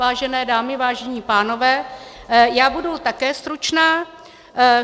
Vážené dámy, vážení pánové, já budu také stručná.